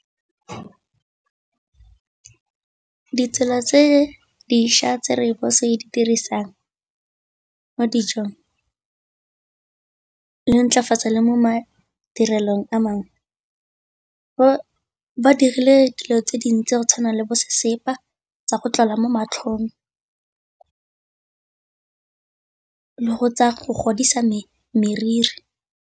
Ditsela tse dišwa tse rooibos e di dirisang mo dijong le intlafatsa le mo madirelong a mangwe, ba dirile dilo tse dintsi go tshwana le bo sesepa tsa go tlola mo matlhong le tsa go godisa meriri.